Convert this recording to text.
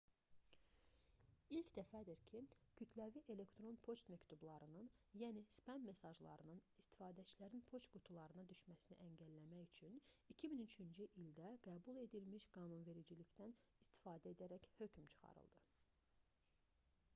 i̇lk dəfədir ki kütləvi e-poçt məktublarının yəni spam mesajlarının istifadəçilərin poçt qutularına düşməsini əngəlləmək üçün 2003-cü ildə qəbul edilmiş qanunvericilikdən istifadə edərək hökm çıxarıldı